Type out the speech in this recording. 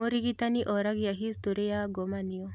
Mũrigitani oragia historĩ ya ngomanio